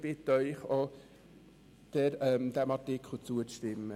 Ich bitte Sie, diesem Artikel auch zuzustimmen.